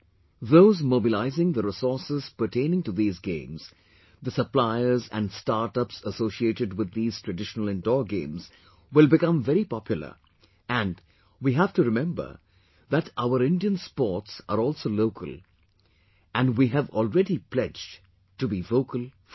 Those mobilizing theresources pertaining to these games, the suppliers and startups associated with these traditional indoor games will become very popular, and, we have to remember that, our Indian sports are also local, and we have already pledged to be vocal for local